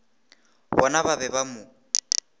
bona ba be ba mo